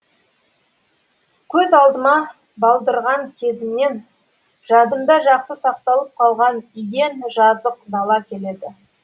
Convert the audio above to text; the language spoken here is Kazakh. көз алдыма балдырған кезімнен жадымда жақсы сақталып қалған иен жазық дала келеді